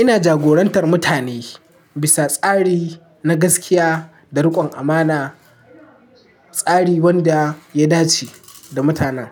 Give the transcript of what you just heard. Ina jagorantar mutane bisa tsari na gaskiya da rikon amana, tsari wanda ya dace da mutanen.